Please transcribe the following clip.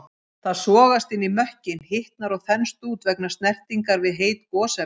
Það sogast inn í mökkinn, hitnar og þenst út vegna snertingar við heit gosefni.